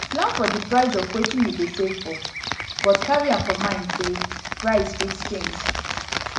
plan for di price of wetin you dey save for but carry am for carry am for mind sey price fit change